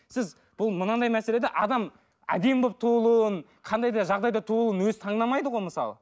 сіз бұл мынандай мәселе де адам әдемі болып туылуын қандай да жағдайда туылуын өзі таңдамайды ғой мысалы